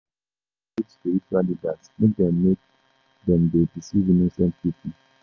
Dem no suppose leave spiritual leaders make dem make dem dey deceive innocent pipo.